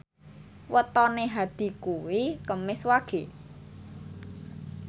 wetone Hadi kuwi Kemis Wage